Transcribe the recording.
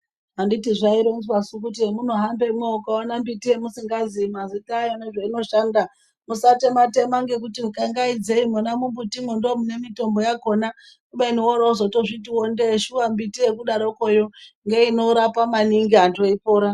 Anditi zvaironzwasu kuti hemunohaMbemwo mukaona mbiti yamusingazii mazita ayo nezveinoshanda musatema tema ngekuti ukangaidzei mumbutimwo ndo mune mitombo yakhona kubeni worozotozviti ndee shuwa mumbiti yekudarokwoyo ngeinkrapa maningi antu eipora.